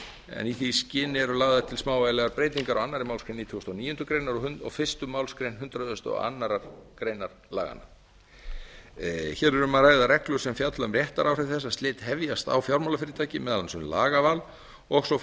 en í því skyni eru lagðar til smávægilegar breytingar á annarri málsgrein nítugasta og níundu greinar og fyrstu málsgrein hundrað og aðra grein laganna hér er um að ræða reglur sem fjalla um réttaráhrif þess að slit hefjast á fjármálafyrirtæki meðal annars um lagaval og svo